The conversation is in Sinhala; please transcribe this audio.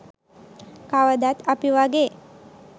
කවදත් අපි වගේ